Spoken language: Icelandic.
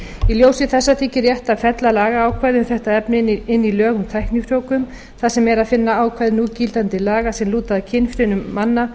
í ljósi þessa þykir rétt að fella lagaákvæði um þetta efni inn í lög um tæknifrjóvgun þar sem er að finna ákvæði núgildandi laga sem lúta að kynfrumum manna